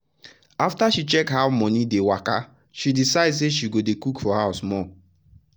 after she check how money dey waka she decide say she go dey cook for house more.